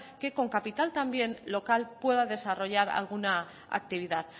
que con capital también local pueda desarrollar alguna actividad